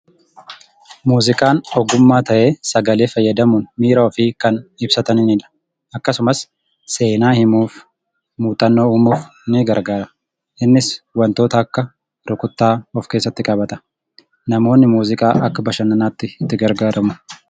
Muuziqaan ogummaa ta'ee sagalee fayyadamuun miira ofii kan ibsatanidha. Akkasumas seenaa himuuf, muuxannoo uumuuf ni gargaara. Innis wantoota akka rukuttaa of keessatti qabata. Namoonni muuziqaa akka bashannanaatti itti gargaaramu.